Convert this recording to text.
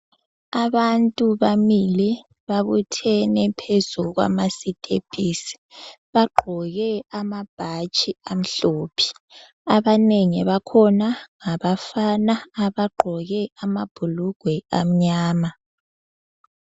Abantu bamile babuthene phezu kwamasitepisi. Bagqoke amabhatshi amhlophe. Abanengi bakhona ngabafana abagqoke amabhulugwe amnyama.